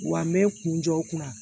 Wa n bɛ n kun jɔ n kunna